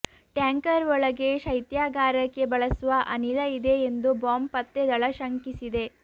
tanker ಒಳಗೆ ಶೈತ್ಯಾಗಾರಕ್ಕೆ ಬಳಸುವ ಅನಿಲ ಇದೆ ಎಂದು ಬಾಂಬ್ ಪತ್ತೆ ದಳ ಶಂಕಿಸಿದೆ